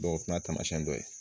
o fana y'a siyɛn dɔ ye